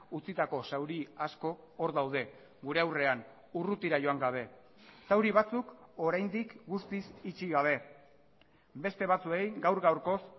utzitako zauri asko hor daude gure aurrean urrutira joan gabe zauri batzuk oraindik guztiz itxi gabe beste batzuei gaur gaurkoz